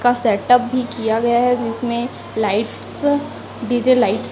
का सेटअप भी किया गया है जिसमें लाइट्स डी_जे लाइट्स --